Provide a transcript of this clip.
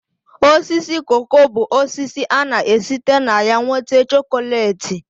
Osisi koko bụ osisi ana-esite na ya nwete chokolate